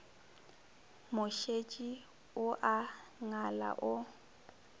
mošetši o a ngala o